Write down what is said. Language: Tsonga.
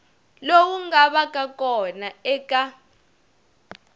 lowu nga vaka kona eka